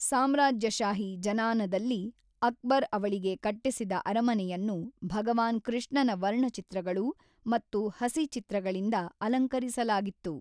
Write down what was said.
ಸಾಮ್ರಾಜ್ಯಶಾಹಿ ಜನಾನದಲ್ಲಿ ಅಕ್ಬರ್ ಅವಳಿಗೆ ಕಟ್ಟಿಸಿದ ಅರಮನೆಯನ್ನು ಭಗವಾನ್ ಕೃಷ್ಣನ ವರ್ಣಚಿತ್ರಗಳು ಮತ್ತು ಹಸಿಚಿತ್ರಗಳಿಂದ ಅಲಂಕರಿಸಲಾಗಿತ್ತು.